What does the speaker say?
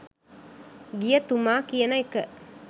ගිය තුමා කියන එක.